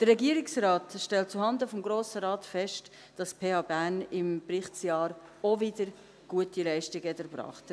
Der Regierungsrat stellt zuhanden des Grossen Rates fest, dass die PH Bern im Berichtsjahr auch wieder gute Leistungen erbracht hat.